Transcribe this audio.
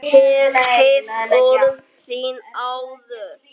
Hef heyrt orð þín áður.